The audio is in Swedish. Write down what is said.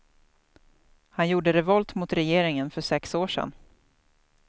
Han gjorde revolt mot regeringen för sex år sedan.